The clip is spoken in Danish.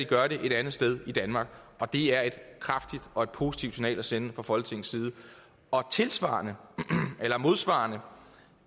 gøre det et andet sted end i danmark det er et kraftigt og positivt signal at sende fra folketingets side tilsvarende eller modsvarende